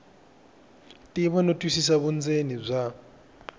tiva no twisisa vundzeni bya